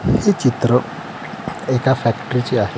हे चित्र एका फॅक्टरी चे आहे.